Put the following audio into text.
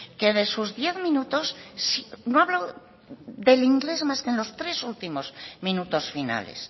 que de sus diez minutos no ha hablado del inglés más que en los tres últimos minutos finales